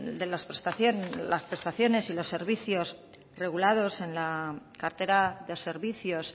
prestaciones y de los servicios regulados en la cartera de servicios